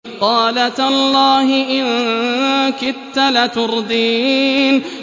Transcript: قَالَ تَاللَّهِ إِن كِدتَّ لَتُرْدِينِ